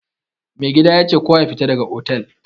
Mai gadi yace kowa yafita daga otal.